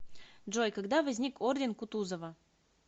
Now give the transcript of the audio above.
джой когда возник орден кутузова